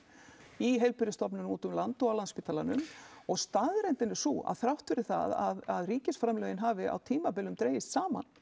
í heilbrigðisstofnunum út um land og á Landspítalanum og staðreyndin er sú að þrátt fyrir að ríkisframlögin hafi á tímabili dregist saman